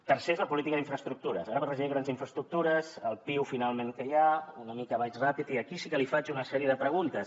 tercer és la política d’infraestructures ara per regió hi ha grans infraestructures el piu finalment que hi ha una mica vaig ràpid i aquí sí que li faig una sèrie de preguntes